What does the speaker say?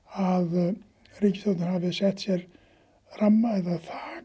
að ríkisstjórnin hafi sett sér ramma eða